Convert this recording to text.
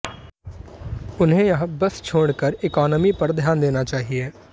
उन्हे यह बस छोड़कर इकोनॉमी पर ध्यान देना चाहिए